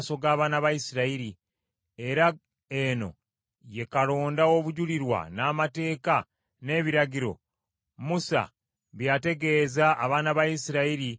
era ono ye kalonda w’obujulirwa, n’amateeka, n’ebiragiro, Musa bye yategeeza abaana ba Isirayiri nga bavudde mu Misiri,